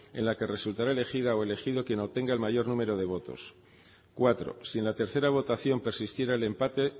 en la que resultará elegida o elegido quien obtenga el mayor número de votos cuatro si en la tercera votación persistiera el empate